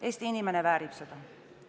Eesti inimene väärib seda.